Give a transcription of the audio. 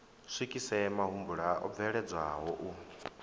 swikise mahumbulwa o bveledzwaho u